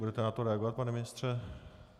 Budete na to reagovat pane ministře?